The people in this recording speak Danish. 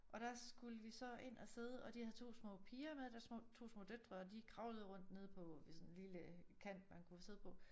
Og der skulle vi så ind og sidde og de havde 2 små piger med deres små 2 små døtre og de kravlede rundt nede på ved sådan en lille kant man kunne sidde på